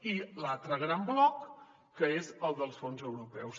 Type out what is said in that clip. i de l’altre gran bloc que és el dels fons europeus